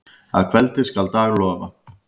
Að kveldi skal dag lofa.